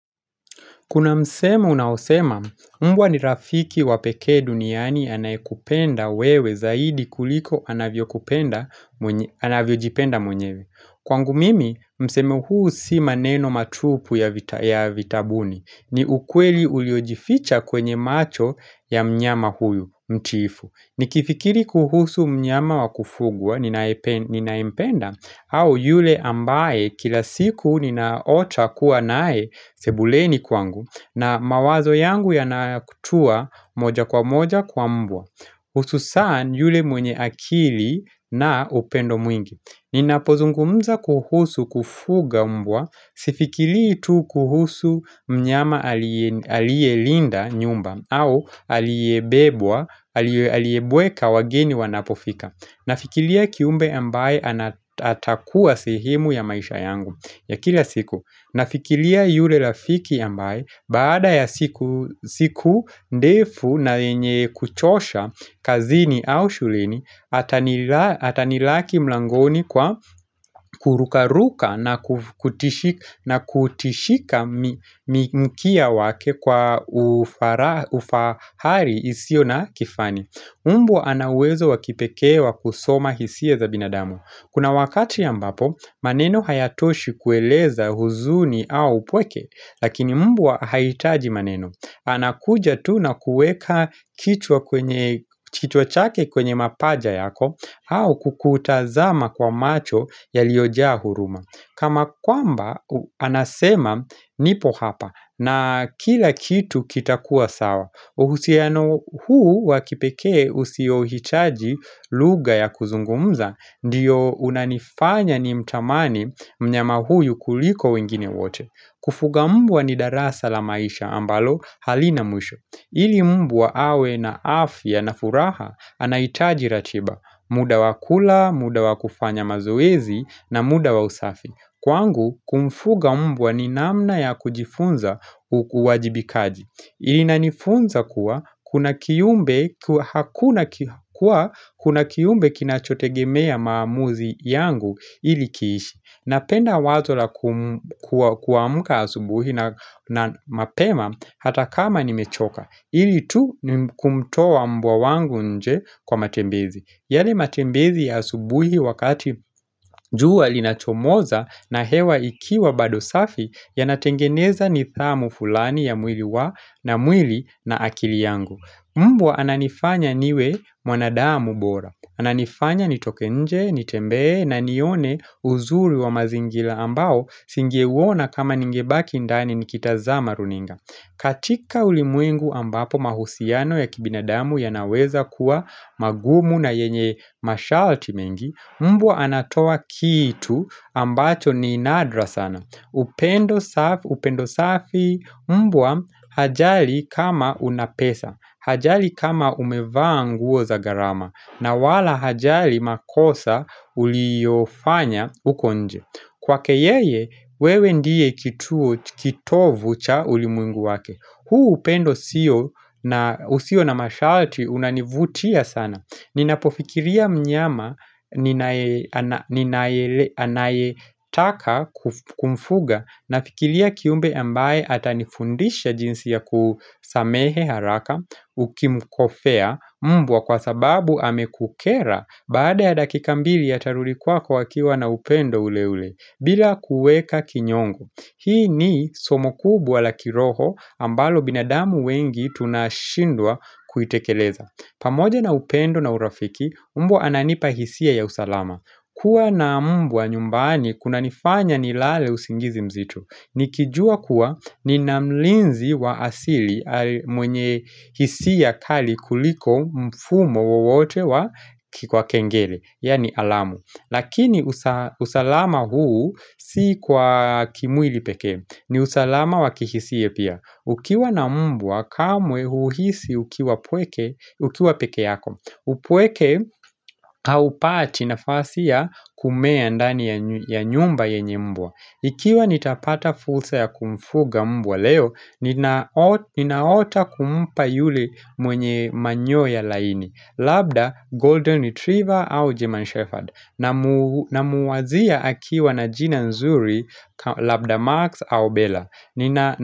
Kuna msemo unaosema, mbwa ni rafiki wa peke duniani anayekupenda wewe zaidi kuliko anavyojipenda mwenyewe. Kwangu mimi, msemo huu si maneno matupu ya vitabuni. Ni ukweli uliojificha kwenye macho ya mnyama huyu, mtiifu. Nikifikiri kuhusu mnyama wakufugwa ninaye mpenda au yule ambaye kila siku ninaota kuwa nae sebuleni kwangu na mawazo yangu yanatua moja kwa moja kwa mbwa hususani yule mwenye akili na upendo mwingi Ninapozungumza kuhusu kufuga mbwa, sifikiri tu kuhusu mnyama alielinda nyumba au aliebebwa, aliebweka wageni wanapofika Nafikiria kiumbe ambaye atakua sehemu ya maisha yangu ya kila siku Nafikiria yule rafiki ambaye, baada ya siku ndefu na yenye kuchosha kazini au shuleni, atanilaki mlangoni kwa kurukaruka na kutishika mkia wake kwa ufahari usio na kifani. Mbwa ana uwezo wakipekee wa kusoma hisia za binadamu. Kuna wakati ambapo, maneno hayatoshi kueleza huzuni au upweke, lakini mbwa haitaji maneno. Anakuja tu na kuweka kichwa chake kwenye mapaja yako, au kukutazama kwa macho yaliojaa huruma. Kana kwamba, anasema nipo hapa na kila kitu kitakua sawa, uhusiano huu wakipekee usio hitaji lugha ya kuzungumza, ndiyo unanifanya nimtamani mnyama huyu kuliko wengine wote. Kufuga mbwa ni darasa la maisha ambalo halina mwisho. Ili mbwa awe na afya na furaha anahitaji ratiba. Muda wa kula, muda wakufanya mazoezi na muda wa usafi. Kwangu, kumfuga mbwa ni namna ya kujifunza uwajibikaji. Ina nifunza kuwa kuna kiumbe kina chotegemea mamuzi yangu ili kiishi. Napenda wazo la kuamka asubuhi na mapema hata kama nimechoka. Ili tu kumtoa mbwa wangu nje kwa matembezi. Yale matembezi ya asubuhi wakati jua linachomoza na hewa ikiwa bado safi yanatengeneza nidhamu fulani ya mwili na akili yangu. Mbwa ananifanya niwe mwanadamu bora. Ananifanya nitoke nje, nitembee na nione uzuri wa mazingira ambao nisinge uwona kama ningebaki ndani nikitazama runinga. Katika ulimwengu ambapo mahusiano ya kibinadamu yanaweza kuwa magumu na yenye masharti mengi, mbwa anatoa kitu ambacho ni nadra sana. Upendo safi mbwa hajali kama unapesa, hajali kama umeva nguo za gharama, na wala hajali makosa uliofanya uko nje. Kwake yeye wewe ndiye kitovu cha ulimwengu wake huu upendo usio na masharti unanivutia sana Ninapofikiria mnyama ninaetaka kumfuga Nafikiria kiumbe ambaye ata nifundisha jinsi ya kusamehe haraka Ukimukosea mbwa kwa sababu amekukera Baada ya dakika mbili atarudi kwako akiwa na upendo ule ule bila kuweka kinyongo Hii ni somo kubwa la kiroho ambalo binadamu wengi tunashindwa kuitekeleza pamoja na upendo na urafiki mbwa ananipa hisia ya usalama kuwa na mbwa nyumbani kuna nifanya nilale usingizi mzito Nikijua kuwa nina mlinzi wa asili mwenye hisia kali kuliko mfumo wowote wa kengele, yani alamu Lakini usalama huu si kwa kimwili peke ni usalama wakihisia pia Ukiwa na mbwa kamwe huhisi ukiwa mpweke Ukiwa peke yako upweke haupati nafasi ya kumea ndani ya nyumba yenye mbwa Ikiwa nitapata fursa ya kumfuga mbwa leo Ninaota kumpa yule mwenye manyoya laini Labda, Golden Retriever au German Shepherd Namuwazia akiwa na jina zuri Labda Marks au Bella.